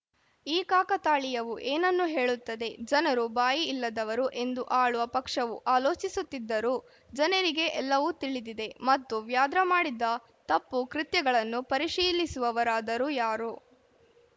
ಈ ಕಾಕತಾಳೀಯವು ಏನನ್ನು ಹೇಳುತ್ತದೆ ಜನರು ಬಾಯಿ ಇಲ್ಲದವರು ಎಂದು ಆಳುವ ಪಕ್ಷವು ಆಲೋಚಿಸುತ್ತಿದ್ದರೂ ಜನರಿಗೆ ಎಲ್ಲವೂ ತಿಳಿದಿದೆ ಮತ್ತು ವ್ಯಾದ್ರಾ ಮಾಡಿದ ತಪ್ಪು ಕೃತ್ಯಗಳನ್ನು ಪರಿಶೀಲಿಸುವವರಾದರೂ ಯಾರು